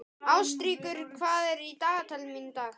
Ástríkur, hvað er í dagatalinu mínu í dag?